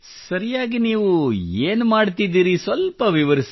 ಸರಿಯಾಗಿ ನೀವು ಏನು ಮಾಡುತ್ತಿದ್ದಿರಿ ಸ್ವಲ್ಪ ವಿವರಿಸಿ